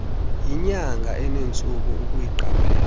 yinyanga enentsuku ukuyiqaphela